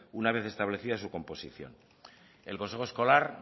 una vez establecida su composición el consejo escolar